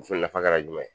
Muso nafa ka juman